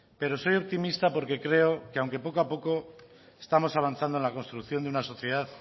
pero soy optimista porque creo que aunque poco a poco estamos avanzando en la construcción de una sociedad